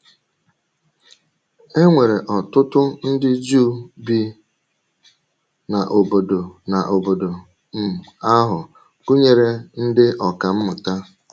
E nwere ọ̀tụ̀tụ̀ ndị Juu bi n’ọ̀bọ̀dò n’ọ̀bọ̀dò um ahụ, gụnyere ndị ọkà mmụta.